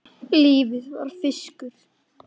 Lífið var fiskur.